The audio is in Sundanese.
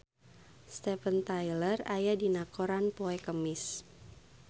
Steven Tyler aya dina koran poe Kemis